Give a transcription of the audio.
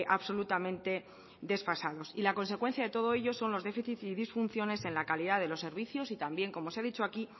absolutamente desfasados y la consecuencia de todo ello son los déficit y disfunciones en la calidad de los servicios y también como se ha dicho aquí